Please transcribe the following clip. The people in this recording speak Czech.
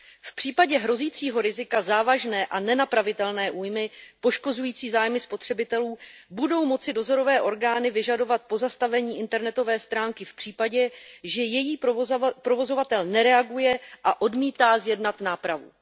V případě hrozícího rizika závažné a nenapravitelné újmy poškozující zájmy spotřebitelů budou moci dozorové orgány vyžadovat pozastavení internetové stránky v případě, že její provozovatel nereaguje a odmítá zjednat nápravu.